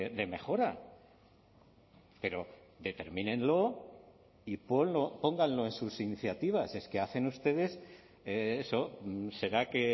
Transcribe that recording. de mejora pero determínenlo y pónganlo en sus iniciativas es que hacen ustedes eso será que